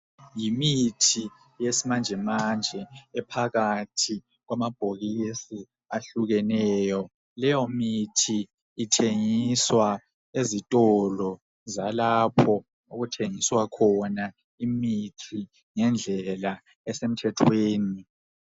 Yimithi yesimanjemanje ephakathi kwamabhokisi ahlukeneyo. Leyomithi ithengiswa ezitolo zalapho okuthengiswa khona imithi ngendlela esemthethweni.